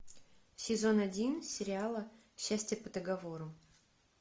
сезон один сериала счастье по договору